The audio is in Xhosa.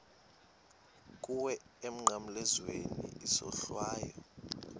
kuwe emnqamlezweni isohlwayo